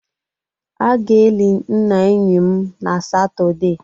A ga-eli nna enyi m na Satọde